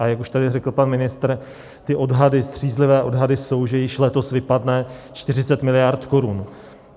A jak už tady řekl pan ministr, ty odhady, střízlivé odhady, jsou, že již letos vypadne 40 mld. korun.